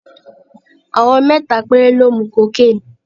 Àwọn mẹ́ta péré ló mu cocaine.